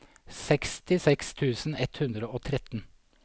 sekstiseks tusen ett hundre og tretten